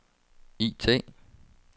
IT